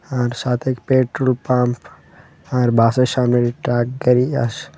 আর সাথে petrol pump আর বাসের সামনে .]